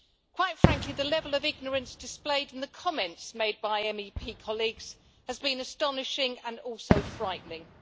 Quite frankly, the level of ignorance displayed in the comments made by MEP colleagues has been astonishing, and also frightening.